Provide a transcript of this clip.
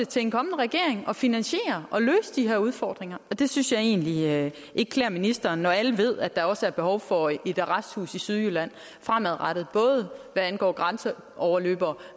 til en kommende regering at finansiere og løse de her udfordringer det synes jeg egentlig ikke klæder ministeren når alle ved at der også er behov for et arresthus i sydjylland fremadrettet både hvad angår grænseoverløbere